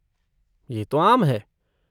ये तो आम है।